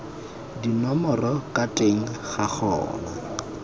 dinomoro ka teng ga gona